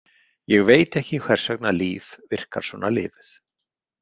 Ég veit ekki hvers vegna Líf virkar svona lifuð.